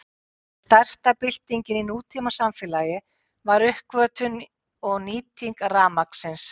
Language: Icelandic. Ein stærsta byltingin í nútímasamfélagi var uppgötvun og nýting rafmagnsins.